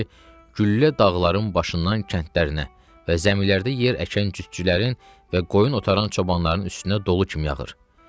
güllə dağların başından kəndlərinə və zəmilərdə yer əkən cütçülərin və qoyun otaran çobanların üstünə dolu kimi yağırdı.